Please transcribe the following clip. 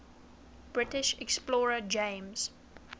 british explorer james